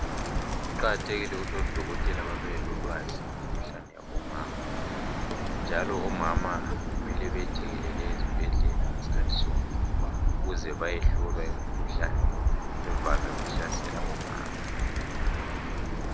Kuqakathekile ukuthi odokotela babelolwazi ngemikhuhlane yabomama njalo omama kumele bethekelele ezibhedlela sikhathi sonke ukuze vayehlolwa imikhuhlane evame ukuhlasela omama.